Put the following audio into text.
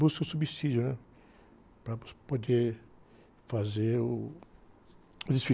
Buscam subsídio, né? Para poder fazer uh, o desfile.